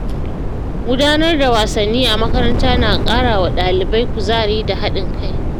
Gudanar da wasanni a makaranta na ƙara wa ɗalibai kuzari da haɗin kai.